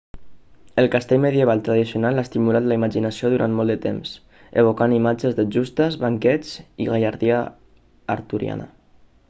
el castell medieval tradicional ha estimulat la imaginació durant molt de temps evocant imatges de justes banquets i gallardia arturiana